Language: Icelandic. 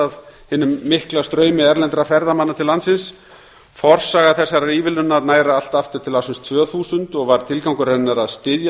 af hinum mikla straumi erlendra ferðamanna til landsins forsaga þessarar ívilnunar nær allt aftur til ársins tvö þúsund og var tilgangur hennar að styðja